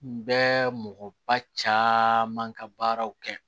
N bɛ mɔgɔba caaman ka baaraw kɛ